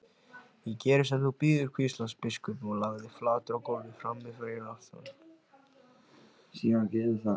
Ég geri sem þú býður, hvíslaði biskupinn og lagðist flatur á gólfið frammi fyrir altarinu.